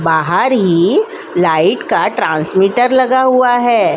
बाहार ही लाइट का ट्रांसमीटर लगा हुआ है।